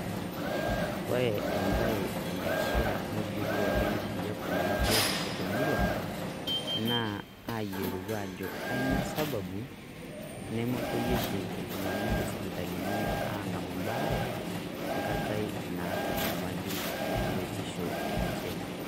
Kore ebae nanare nijurru oleng' peyie eponari biotisho te murua naa peeponari ayielou aajo kanyio sababu nemepoyie oshi iltung'anak sipitalini aang'amu ebaare engata naata enyalitin oo seseni lenye.